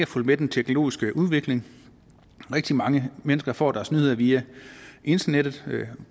fulgt med den teknologiske udvikling rigtig mange mennesker får deres nyheder via internettet